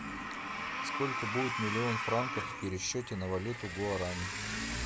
сколько будет миллион франков в пересчете на валюту гуарани